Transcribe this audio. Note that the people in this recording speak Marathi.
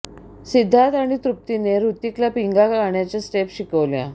सिद्धार्थ आणि तृप्तीने हृतिकला पिंगा गाण्याच्या स्टेप्स शिकवल्या